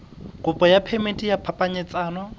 kopo ya phemiti ya phapanyetsano